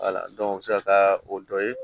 u bɛ se ka taa o dɔ ye